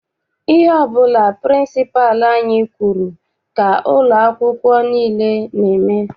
Ihe ọbụla pịrịnsịpalụ anyị kwụrụ ka ụlọ akwụkwọ nile n'eme.